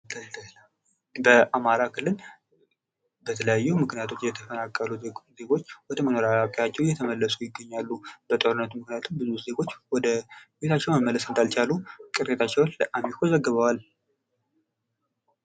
በአማራ ክልል በተለያዩ ምክንያቶች የተፈናቀሉ ዜጎች ወደመኖሪያ ቤታቸው እየተመለሱ ይገኛሉ። በጦርነቱ ምክንያት ብዙ ሰዎች ወደ ቤታቸው መመለስ እንዳልቻሉ ቅሬታቸውን ለአሚኮ ዘግቧል።